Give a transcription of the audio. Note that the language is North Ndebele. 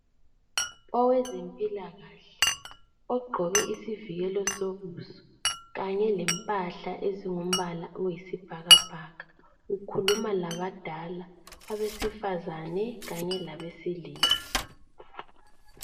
Owezempilakahle ogqoke isivikelo sobuso kanye lempahla ezingumbala oyisibhakabhaka ukhuluma labadala, abesifazane kanye labesilisa.